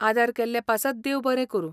आदार केल्ले पासत देव बरें करूं.